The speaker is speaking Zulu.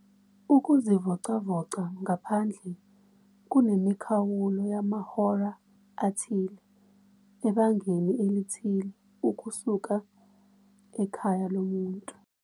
.ukuzivocavoca ngaphandle kunemikhawulo yamahora athile ebangeni elithile ukusuka ekhaya lomuntu.